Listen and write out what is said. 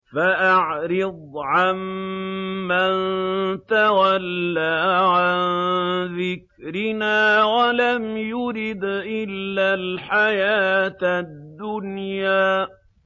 فَأَعْرِضْ عَن مَّن تَوَلَّىٰ عَن ذِكْرِنَا وَلَمْ يُرِدْ إِلَّا الْحَيَاةَ الدُّنْيَا